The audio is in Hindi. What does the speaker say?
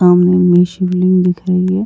सामने में शिवलिंग दिख रही है।